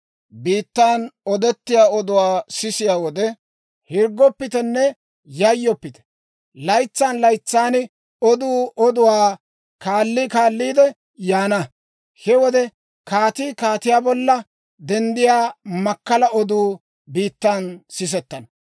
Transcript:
Biittan odettiyaa oduwaa sisiyaa wode, hirggoppitenne yayyoppite! Laytsan laytsan oduu oduwaa kaalli kaalliide yaana. He wode kaatii kaatiyaa bolla denddiyaa makkala oduu biittan sisettana.